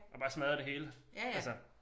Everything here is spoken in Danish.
Og bare smadrer det hele altså